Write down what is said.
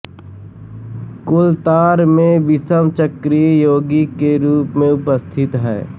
कोलतार में विषम चक्रीय यौगिक के रूप में उपस्थित